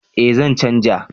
Eh zan canja